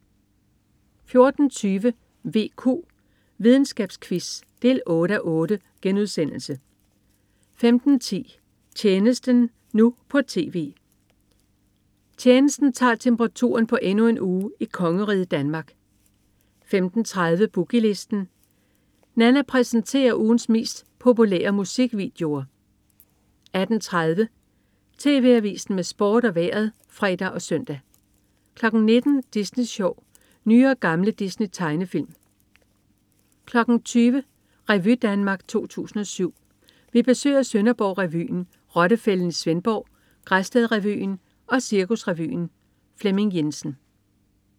14.20 VQ. Videnskabsquiz 8:8* 15.10 Tjenesten, nu på TV. "Tjenesten" tager temperaturen på endnu en uge i kongeriget Danmark 15.30 Boogie Listen. Nanna præsenterer ugens 10 mest populære musikvideoer 18.30 TV Avisen med Sport og Vejret (fre og søn) 19.00 Disney Sjov. Nye og gamle Disney-tegnefilm 20.00 Revy Danmark 2007. Vi besøger Sønderborg Revyen, Rottefælden i Svendborg, Græsted Revyen og Cirkusrevyen. Flemming Jensen